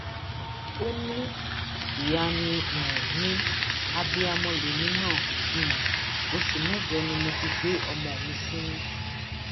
ìwé àṣẹ ìyíléwọ méjì tó jẹ tọlọpàá ni wọn um bá lọwọ àwọn ayédèrú ọlọpàá um méjì yìí